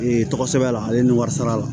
Ee tɔgɔ sɛbɛn a la ale ni wari sara la